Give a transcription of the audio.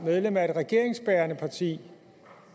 medlem af et regeringsbærende parti